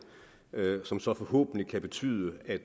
som så forhåbentlig kan betyde at